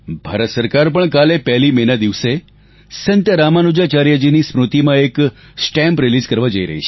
ભારત સરકાર પણ કાલે 1 મે ના દિવસે સંત રામાનુજાચાર્યજીની સ્મૃતિમાં એક સ્ટેમ્પ રિલીઝ કરવા જઈ રહી છે